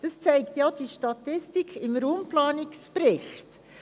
Das zeigte auch die Statistik im Raumplanungsbericht.